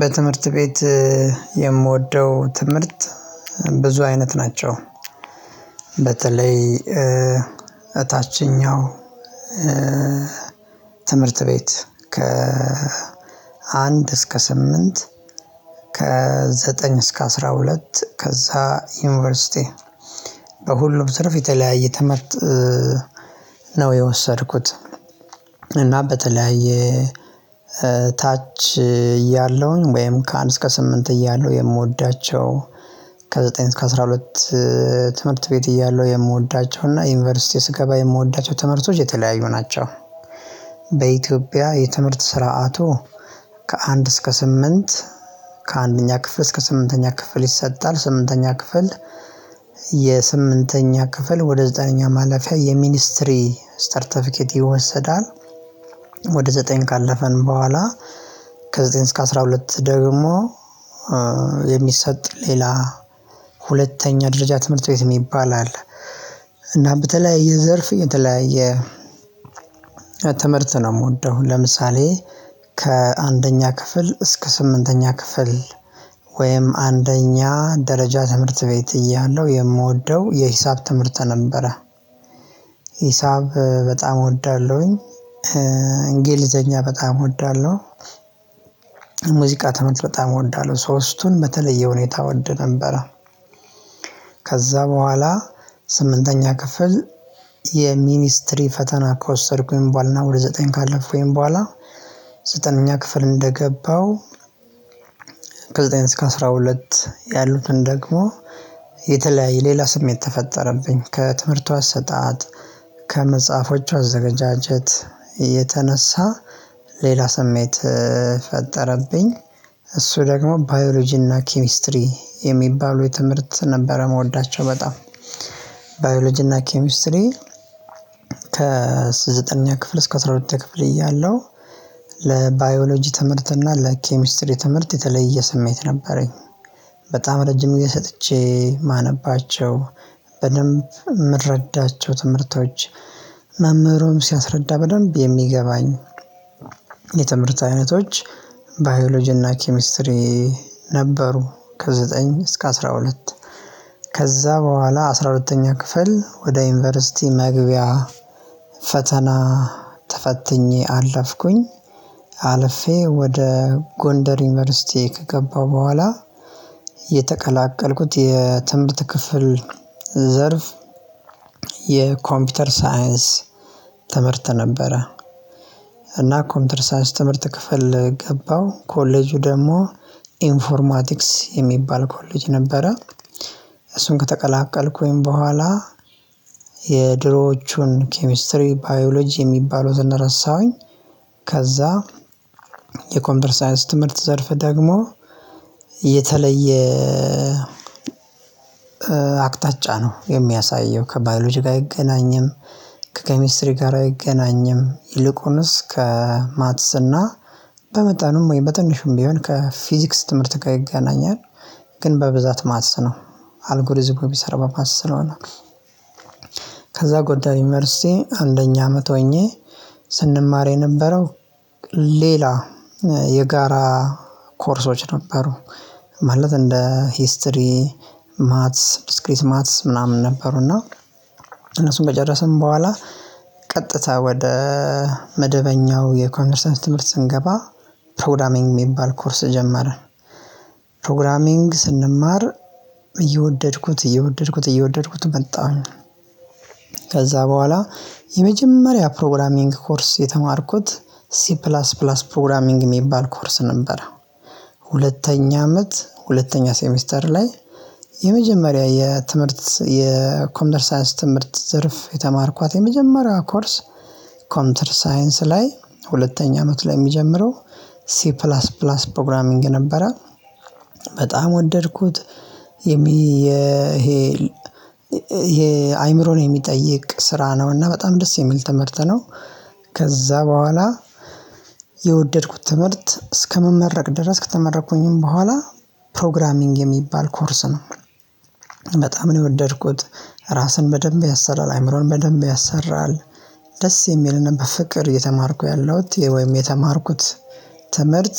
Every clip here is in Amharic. በትምህርት ቤት የምወደው ትምህርት ብዙ አይነት ናቸው። በተለይ እታችኛው። ትምህርት ቤት ከ አንድ እስከ ስምንት ከ ዘጠኝ እስከ አስራ ሁለት ከዛ ዩኒቨርሲቲ። በሁሉም ትርፍ የተለያየ ተመርጥ። የወሰድኩት እና በተለያየ ታች እያለሁኝ ወይም ከአንድ እስከ ስምንት እያለሁ የምወዳቸው ከዘጠኝ እስከ አስራ ሁለት ትምህርት ቤት እያለሁ የምወዳቸውና እና ዩኒቨርሲቲ ስገባ የምወዳቸው ትምህርቶች የተለያዩ ናቸው። በኢትዮጵያ የትምህርት ስርዓቱ ከአንድ እስከ ስምንት ከአንደኛ ክፍል እስከ ስምንተኛ ክፍል ይሰጣል ስምንተኛ ክፍል የስምንተኛ ክፍል ወደ ዘጠነኛ ማለፊያ የሚኒስትሪ ስተርተፊኬት ይወሰዳል። ወደ ዘጠኝ ካለፈን በኋላ ከዘጠኝ እስከ አስራ ሁለት ደግሞ የሚሰጥ ሌላ ሁለተኛ ደረጃ ትምህርት ቤት የሚባል አለ። እና በተለያየ ዘርፍ የተለያየ ትምህርት ነው። የምወደው ለምሳሌ ከአንደኛ ክፍል እስከ ስምንተኛ ክፍል ወይም አንደኛ ደረጃ ትምህርት ቤት እያለሁ የምወደው የሂሳብ ትምህርት ነበረ። ሂሳብ በጣም እወዳለሁኝ። እንግሊዘኛ በጣም እወዳለሁ። ሙዚቃ ትምህርት በጣም እወዳለሁ ሶስቱን በተለየ ሁኔታ እወድ ነበረ። ከዛ በኋላ ስምንተኛ ክፍል የሚኒስትሪ ፈተና ከወሰድኩኝ በኋላ እና ወደ ዘጠኝ ካለፍኩኝ በኋላ ዘጠነኛ ክፍል እንደገባው። ከዘጠኝ እስከ አስራ ሁለት ያሉትን ደግሞ የተለያየ ሌላ ስሜት ተፈጠረብኝ ከትምህርቱ አሰጣጥ ከመጽሐፎቹ አዘገጃጀት የተነሳ ሌላ ስሜት ፈጠረብኝ። እሱ ደግሞ ባዮሎጂና ኬሚስትሪ የሚባሉ የትምህርት ነበረ ምወዳቸው በጣም ባዮሎጂና ኬሚስትሪ። ከዘጠነኛ ክፍል እስከ አስራ ሁለተኛ ክፍል እያለሁ ለባዮሎጂ ትምህርት እና ለኬሚስትሪ ትምህርት የተለየ ስሜት ነበረኝ። በጣም ረጅም የሰጥቼ ማነባቸው በደንብ የምረዳቸው ትምህርቶች መምህሩን ሲያስረዳ በደንብ የሚገባኝ የትምህርት አይነቶች ባዮሎጂና ኪሚስትሪ ነበሩ። ከዘጠኝ እስከ አስራ ሁለት ከዛ በኋላ አስራ ሁለተኛ ክፍል ወደ ዩኒቨርሲቲ መግቢያ ፈተና ተፈትኜ አለፍኩኝ አልፌ ወደ ጎንደር ዩኒቨርሲቲ ከገባሁ በኋላ። የተቀላቀልኩት የትንብት ክፍል ዘርፍ የኮምፒውተር ሳይንስ ትምህርት ነበረ። እና ኮምፒውተር ሳይንስ ትምህርት ክፍል ገባው ኮሌጁ ደግሞ ኢንፎርማቲክስ የሚባል ኮሌጅ ነበረ። እሱን ከተቀላቀልኩኝ በኋላ የድሮዎቹን ኬሚስትሪ ባዮሎጂ የሚባሉትን ረሳሁኝ። ከዛ የኮንቨርሳይንስ ትምህርት ዘርፍ ደግሞ የተለየ አቅጣጫ ነው የሚያሳየው ከባዮሎጂ ጋር አይገናኝም። ከኬሚስትሪ ጋር አይገናኝም ይልቁንስ ከማትስና በመጠንም ወይ በትንሹም ቢሆን ከፊዚክስ ትምህርት ጋር ይገናኛል። ግን በብዛት ማትሰነው አልጎሪዝሙ ቢሰር በማሰነው ስለሆነ። ከዛ ጎዳ ዩኒቨርሲቲ አንደኛ አመት ሆኜ ስንማር የነበረው ሌላ የጋራ ኮርሶች ነበሩ። ማለት እንደ ሂስትሪ ማትስ ብስክሪት ማትስ ምናምን ነበሩ። እና እነሱን ከጨረስን በኋላ ቀጥታ ወደ መደበኛው የኮንደርሰንስ ትምህርት ስንገባ ፕሮግራሚንግ የሚባል ኮርስ ጀመረ። ፕሮግራሚንግ ስንማር እየወደድኩት እየወደድኩት እየወደድኩት መጣሁኝ። ከዛ በኋላ የመጀመሪያ ፕሮግራሚንግ ኮርስ የተማርኩት ሲ ፕላስ ፕላስ ፕሮግራሚንግ የሚባል ኮርስ ነበር። ሁለተኛ አመት ሁለተኛ ሴሚስተር ላይ የመጀመሪያ የትምህርት የኮንደርሳይዝ ትምህርት ዘርፍ የተማርኳት የመጀመሪያው ኮርስ ኮንተር ሳይንስ ላይ ሁለተኛ አመት ላይ የሚጀምረው ሲ ፕላስ ፕላስ ፕሮግራሚንግ ነበረ። በጣም ወደድኩት የሚ የሄል ይሄ አይምሮን የሚጠይቅ ስራ ነውና በጣም ደስ የሚል ትምህርት ነው። ከዛ በኋላ የወደድኩት ትምህርት እስከመመረቅ ድረስ ከተመረኩኝም በኋላ ፕሮግራሚንግ የሚባል ኮርስ ነው። በጣም ነው የወደድኩት ራስን በደንብ ያሰራል አይምሮን በደንብ ያሰራል። ደስ የሚልንም በፍቅር እየተማርኩ ያለሁት ወይም የተማርኩት ትምህርት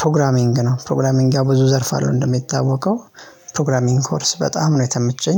ፕሮግራሚንግ ነው ፕሮግራሚንግ ጋር ብዙ ዘርፍ አለው እንደሚታወቀው ፕሮግራሚንግ ኮርስ በጣም ነው የተመቸኝ